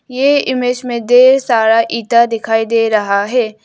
ये इमेज में ढेर सारा ईटा दिखाई दे रहा है।